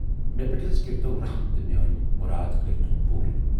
مےٚ پٮ۪ٹھ حض کٔرۍتو رٔحم تہٕ میٲنۍ مُراد کٔرۍتَو پوٗر۔